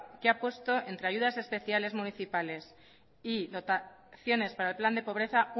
que ha puesto entre ayudas especiales municipales y dotaciones para el plan de pobreza